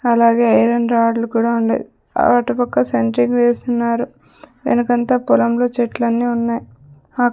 అలాగే ఐరన్ రాడ్లు కూడా ఉండయి అటు పక్క సెంట్రింగ్ వేస్తున్నారు వెనకంత పొలంలో చెట్లని ఉన్నాయి అక.